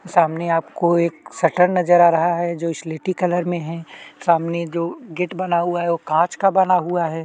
सामने आपको एक सटर नज़र आ रहा है सामने जो गेट बना हुआ है कांच का बना हुआ है।